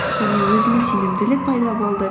және өзіме сенімділік пайда болды